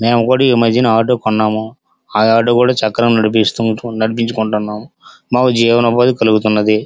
మేము కూడా ఈ మధ్యన ఆటో కొన్నాము. ఆ ఆటో కూడా చక్రము మాకు జీవన ఉపాది కలుగుతున్నది.